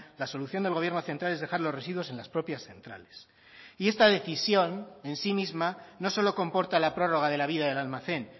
la solución del gobierno central es dejar los residuos en las propias centrales y esta decisión en sí misma no solo comporta la prórroga de la vida del almacén